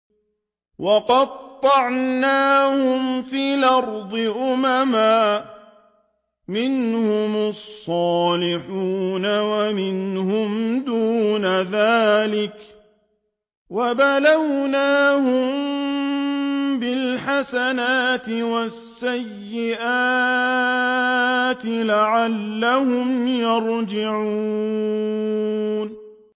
وَقَطَّعْنَاهُمْ فِي الْأَرْضِ أُمَمًا ۖ مِّنْهُمُ الصَّالِحُونَ وَمِنْهُمْ دُونَ ذَٰلِكَ ۖ وَبَلَوْنَاهُم بِالْحَسَنَاتِ وَالسَّيِّئَاتِ لَعَلَّهُمْ يَرْجِعُونَ